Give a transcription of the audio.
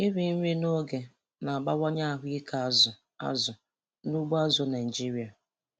Iri nri n'oge na-abawanye ahụike azụ azụ n'ugbo azụ̀ Naịjiria.